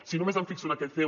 si només em fixo en aquest ceo